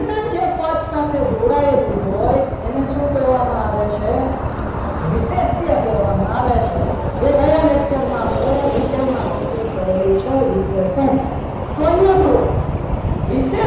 વિશેષણ જે પદ સાથે જોડાયેલું હોય એને શું કહેવામાં આવે છે વિશેષ્ય કહેવામાં આવે છે જે ગયા lecture માં આપણે detail માં complete કરેલું છે વિશેષણ તો અહીંયા જોવો